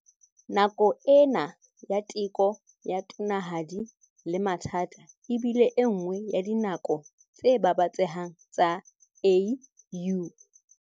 Nako ena ya teko ya tonanahadi le mathata e bile enngwe ya dinako tse babatsehang tsa AU.